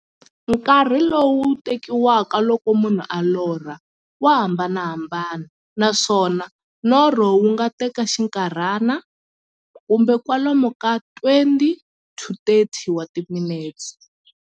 Nkarhi lowu tekiwaka loko munhu a lorha, wa hambanahambana, naswona norho wu nga teka xinkarhana, kumbe kwalomu ka 20-30 wa timinete.